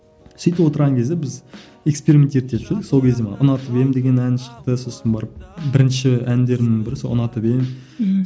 сөйтіп отырған кезде біз эксперимент етіп сол кезде ұнатып едім деген ән шықты сосын барып бірінші әндерімнің бірі сол ұнатып едім ммм